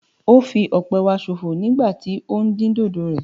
O fí ọpẹ wa sọ̀fọ nígbà tí o ń din dódò rẹ